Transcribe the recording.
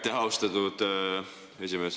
Aitäh, austatud esimees!